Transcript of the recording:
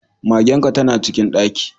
Magen ka tana cikin ɗaki.